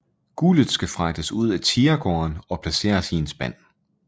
Guldet skal fragtes ud af tigergården og placeres i en spand